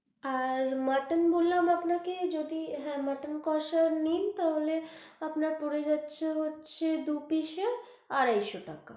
আর mutton বললাম আপনাকে যদি হ্যাঁ মটন কোষা নিন, তাহলে আপনার পরে যাচ্ছে হচ্ছে দু piece এ আড়াই শো টাকা।